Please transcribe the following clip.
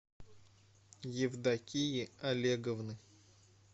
евдокии олеговны